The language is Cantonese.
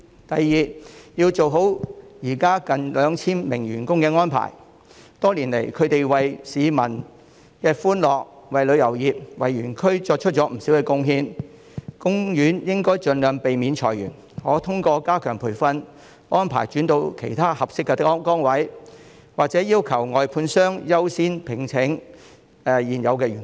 第二，要做好現時近 2,000 名員工的安排，他們多年來為市民帶來歡樂，為旅遊業、為園區作出了不少貢獻，海洋公園應盡量避免裁員，並可通過加強培訓，安排員工轉到其他合適的崗位，或者要求外判商優先聘請現有的員工。